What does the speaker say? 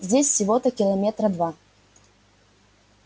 здесь всего-то километра два